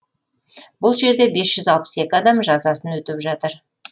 бұл жерде бес жүз алпыс екі адам жазасын өтеп жатыр